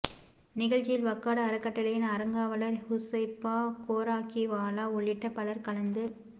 நிகழ்ச்சியில் வக்கார்டு அறக்கட்டளையின் அறங்காவலர் ஹுசைபா கோராக்கிவாலா உள்ளிட்ட பலர் கலந்து